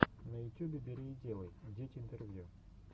на ютюбе бери и делай дети интервью